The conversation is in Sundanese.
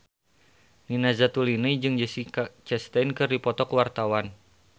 Nina Zatulini jeung Jessica Chastain keur dipoto ku wartawan